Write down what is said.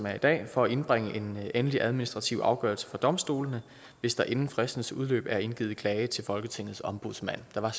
er i dag for at indbringe en endelig administrativ afgørelse for domstolene hvis der inden fristens udløb er indgivet klage til folketingets ombudsmand der var